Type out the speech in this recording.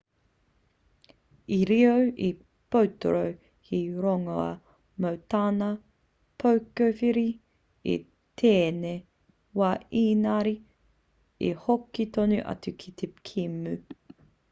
i riro i a potro he rongoā mō tana pokohiwi i tēnei wā ēngari i hoki tonu atu ki te kēmu